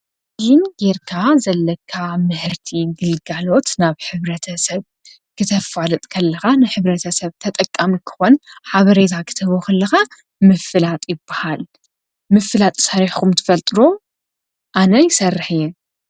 ዙም ጌርካ ዘለካ ምህርቲ ግልጋሎት ናብ ሕብረተ ሰብ ክተፋልጥ ከለካ ንሕብረተ ሰብ ተጠቃሚ ክኮን ሓበሬታ ክትህቦ ከለካ ምፍላጥ ይበሃል። ምፍላጥ ሰሪሕኩም ትፈልጡ ዶ? ኣነ ይሰርሕ እየ።